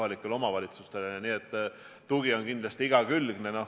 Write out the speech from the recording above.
Nii et tugi on kindlasti igakülgne.